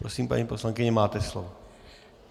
Prosím, paní poslankyně, máte slovo.